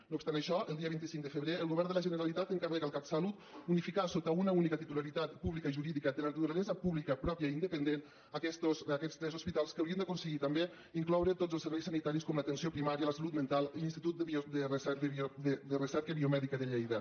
no obstant això el dia vint cinc de febrer el govern de la generalitat encarrega al catsalut unificar sota una única titularitat pública i jurídica de naturalesa pública pròpia i independent aquests tres hospitals en què hauríem d’aconseguir també incloure tots els serveis sanitaris com l’atenció primària la salut mental i l’institut de recerca biomèdica de lleida